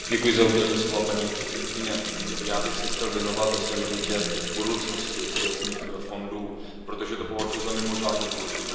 Paní předsedající, já bych se chtěl věnovat ve své minutě budoucnosti kohezních fondů, protože to považuji za mimořádně důležité téma.